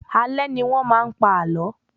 Alé ní wọ́n maá n pa àlọ́